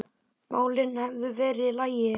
málin hefðu verið í lagi.